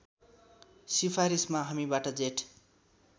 सिफारिसमा हामीबाट जेठ